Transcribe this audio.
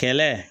Kɛla